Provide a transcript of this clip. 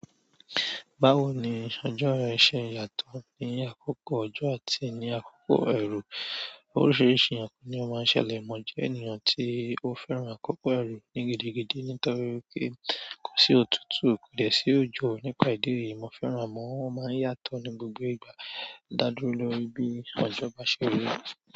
Báwo ni ọjọ́ yẹn ṣe yàtọ̀ ní àkókò ọjọ́ àti ní àkókò ẹrù? Oríṣiríṣi àpò ni ó máa ń ṣẹlẹ̀. Mo jẹ́ ènìyàn tí ó fẹ́ràn àkókò ẹrùn ní gidigidi nítorí wipé kò sí òtútù, kò dẹ̀ sí òjò. Nípa ìdí èyí, mo fẹ́ràn àmọ́ wọ́n máa ń yàtọ̀ ní gbogbo ìgbà. Daduro lórí bíi ojo ba se ri.